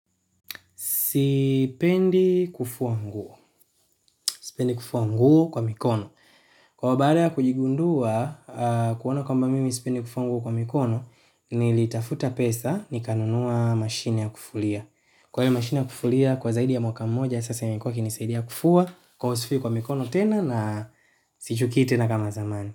Sipendi kufua nguo. Sipendi kufua nguo kwa mikono. Kwaio baada ya kujigundua, kuona kwamba mimi sipendi kufua nguo kwa mikono, nilitafuta pesa nikanunua mashine ya kufulia. Kwaio mashine ya kufulia, kwa zaidi ya mwaka moja, sasa imekuwa ikinisaidia kufua, kwaio sifui kwa mikono tena na sichukii tena kama zamani.